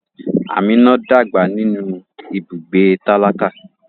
Amina dàgbà nínú ibùgbé tálákà.